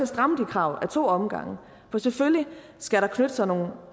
stramme de krav ad to omgange for selvfølgelig skal der knytte sig nogle